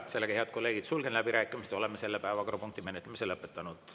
Sellega, head kolleegid, sulgen läbirääkimised ja oleme selle päevakorrapunkti menetlemise lõpetanud.